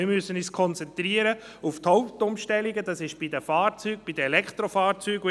Wir müssen uns auf die Hauptumstellungen konzentrieren, und das sind die Fahrzeuge, die Elektrofahrzeuge.